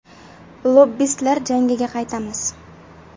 Lobbistlar jangiga qaytamiz.